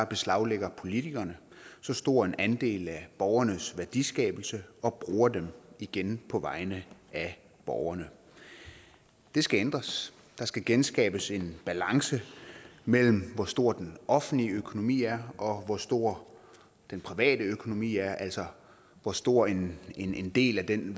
beslaglægger politikerne så stor en andel af borgernes værdiskabelse og bruger dem igen på vegne af borgerne det skal ændres der skal genskabes en balance mellem hvor stor den offentlige økonomi er og hvor stor den private økonomi er altså hvor stor en en del af den